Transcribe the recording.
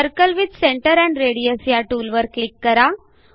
circle with centre and radius ह्या टूलवर click करा